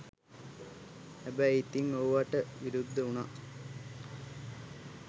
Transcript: හැබැයි ඉතිං ඕවට විරුද්ධ උනා